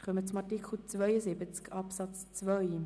Wir kommen zu Artikel 72 Absatz 2.